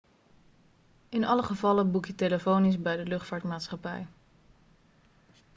in alle gevallen boek je telefonisch bij de luchtvaartmaatschappij